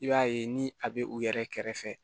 I b'a ye ni a bɛ u yɛrɛ kɛrɛfɛ